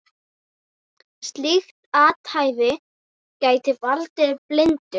Slíkt athæfi gæti valdið blindu.